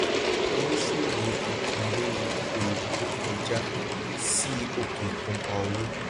oníṣòwò òkèèrè okòwò tó kó ọjà sí òkè òkun pá owó